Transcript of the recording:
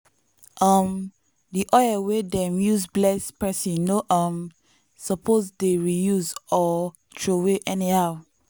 um di oil wey dem use bless person no um suppose dey reuse or throway anyhow.